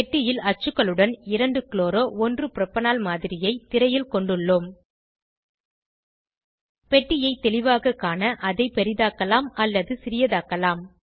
பெட்டியில் அச்சுகளுடன் 2 chloro 1 propanol மாதிரியை திரையில் கொண்டுள்ளோம் பெட்டியை தெளிவாக காண அதை பெரிதாக்கலாம் அல்லது சிறிதாக்கலாம்